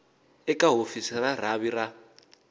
eka hofisi ya rhavi ra